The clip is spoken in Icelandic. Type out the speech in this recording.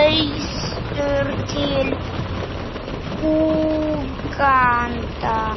austur til Úganda.